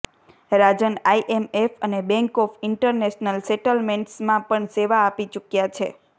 રાજન IMF અને bank of international સેટલમેન્ટ્સમાં પણ સેવા આપી ચૂક્યા છે